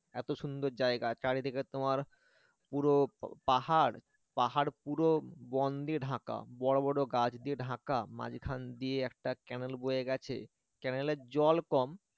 এত সুন্দর জায়গা চারিদিকে তোমার পুরো পাহাড় পাহাড় পুরো বন দিয়ে ঢাকা বড় বড় গাছ দিয়ে ঢাকা মাঝখান দিয়ে একটা canal বয়ে গেছে canal র জল কম